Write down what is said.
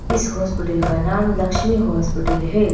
इस हॉस्पिटल का नाम लक्ष्मी हॉस्पिटल है।